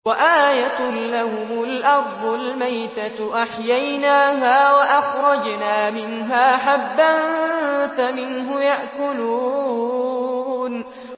وَآيَةٌ لَّهُمُ الْأَرْضُ الْمَيْتَةُ أَحْيَيْنَاهَا وَأَخْرَجْنَا مِنْهَا حَبًّا فَمِنْهُ يَأْكُلُونَ